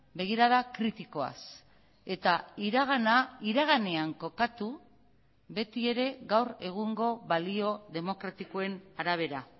begirada kritikoaz eta iragana iraganean kokatu beti ere gaur egungo balio demokratikoen arabera